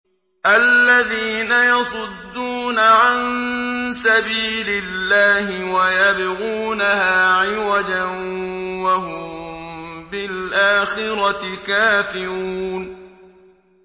الَّذِينَ يَصُدُّونَ عَن سَبِيلِ اللَّهِ وَيَبْغُونَهَا عِوَجًا وَهُم بِالْآخِرَةِ كَافِرُونَ